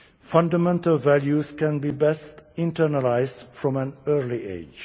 Fundamental values can be best internalised from an early age.